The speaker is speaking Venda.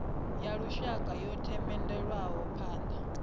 ya lushaka yo themendelwaho phana